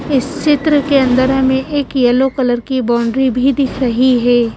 इस चित्र के अंदर हमें एक यलो कलर की बाउंड्री भी दिख रही है।